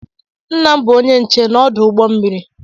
Nna m bụ onye nche n'ọdụ ụgbọ mmiri.